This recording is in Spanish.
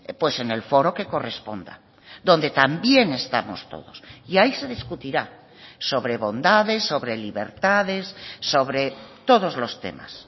pues en el foro que corresponda donde también estamos todos y ahí se discutirá sobre bondades sobre libertades sobre todos los temas